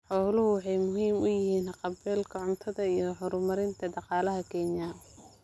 Xooluhu waxay muhiim u yihiin haqab-beelka cuntada iyo horumarinta dhaqaalaha Kenya.